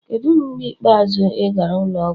Kedu mgbe ikpeazụ ị gara ụlọ ọgwụ?